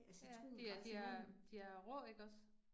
Ja, det er det er, de er rå ikke også